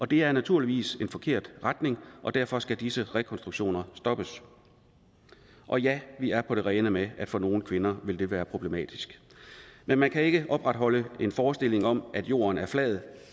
det er naturligvis en forkert retning og derfor skal disse rekonstruktioner stoppes og ja vi er på det rene med at det for nogle kvinder vil være problematisk men man kan ikke opretholde en forestilling om at jorden er flad